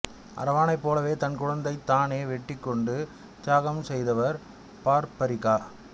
அரவானைப் போலவே தன் கழுத்தைத் தானே வெட்டிக் கொண்டு தியாகம் செய்தவர் பார்பரிக்கா